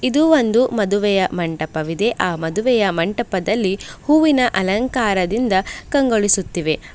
ಇದು ಒಂದು ಮದುವೆಯ ಮಂಟಪವಿದೆ ಆ ಮದುವೆಯ ಮಂಟಪದಲ್ಲಿ ಹೂವಿನ ಅಲಂಕಾರದಿಂದ ಕಂಗೊಳಿಸುತ್ತಿವೆ.